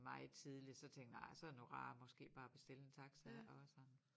Meget tidligt så tænker nej så det nu rarere måske bare at bestille en taxa og sådan